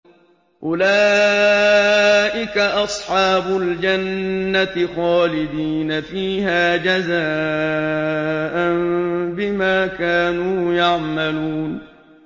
أُولَٰئِكَ أَصْحَابُ الْجَنَّةِ خَالِدِينَ فِيهَا جَزَاءً بِمَا كَانُوا يَعْمَلُونَ